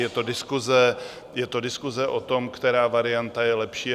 Je to diskuse o tom, která varianta je lepší.